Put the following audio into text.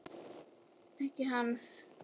Ekki hans.